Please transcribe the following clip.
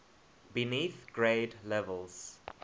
beneath grade levels